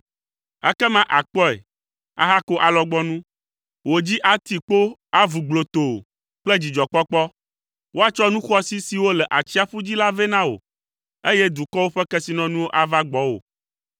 Ekema àkpɔe, ahako alɔgbɔnu. Wò dzi ati kpo, avu gblotoo kple dzidzɔkpɔkpɔ. Woatsɔ nu xɔasi siwo le atsiaƒu dzi la vɛ na wò, eye dukɔwo ƒe kesinɔnuwo ava gbɔwò.